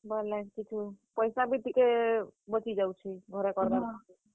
ପଏସା ବି ଟିକେ ବଞ୍ଚିଯାଉଛେ।